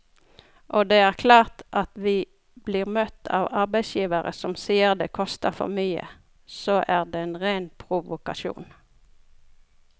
Og det er klart at om vi blir møtt av arbeidsgivere som sier det koster for mye, så er det en ren provokasjon.